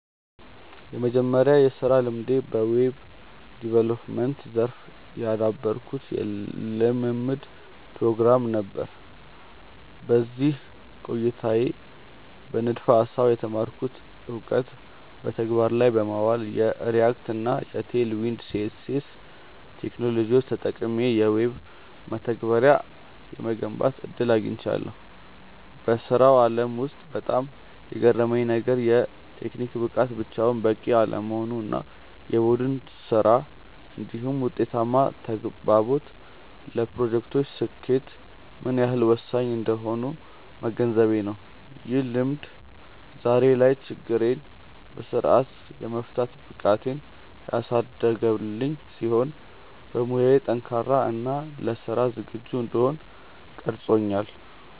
የመጀመሪያው የሥራ ልምዴ በዌብ ዲቨሎፕመንት (Web Development) ዘርፍ ያደረግኩት የልምምድ ፕሮግራም (Internship) ነበር። በዚህ ቆይታዬ በንድፈ-ሐሳብ የተማርኩትን እውቀት በተግባር ላይ በማዋል፣ የReact እና Tailwind CSS ቴክኖሎጂዎችን ተጠቅሜ የዌብ መተግበሪያዎችን የመገንባት ዕድል አግኝቻለሁ። በሥራው ዓለም ውስጥ በጣም የገረመኝ ነገር፣ የቴክኒክ ብቃት ብቻውን በቂ አለመሆኑ እና የቡድን ሥራ (Teamwork) እንዲሁም ውጤታማ ተግባቦት ለፕሮጀክቶች ስኬት ምን ያህል ወሳኝ እንደሆኑ መገንዘቤ ነው። ይህ ልምድ ዛሬ ላይ ችግሮችን በሥርዓት የመፍታት ብቃቴን ያሳደገልኝ ሲሆን፣ በሙያዬ ጠንካራ እና ለሥራ ዝግጁ እንድሆን ቀርጾኛል።